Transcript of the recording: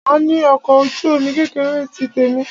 Màá ní ọkọ̀ ojú-omi kékeré tí tèmi.